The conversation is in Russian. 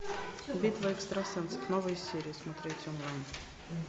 битва экстрасенсов новые серии смотреть онлайн